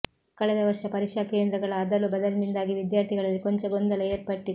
ಕಳೆದ ವರ್ಷ ಪರೀಕ್ಷಾ ಕೇಂದ್ರಗಳ ಅದಲು ಬದಲಿನಿಂದಾಗಿ ವಿದ್ಯಾರ್ಥಿಗಳಲ್ಲಿ ಕೊಂಚ ಗೊಂದಲ ಏರ್ಪಟ್ಟಿತ್ತು